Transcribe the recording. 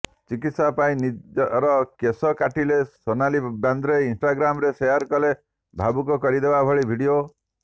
ଚିକିତ୍ସା ପାଇଁ ନିଜର କେଶ କାଟିଲେ ସୋନଲି ବେନ୍ଦ୍ରେ ଇନ୍ଷ୍ଟାଗ୍ରାମ୍ରେ ସେୟାର କଲେ ଭାବୁକ କରିଦେବା ଭଳି ଭିଡିଓ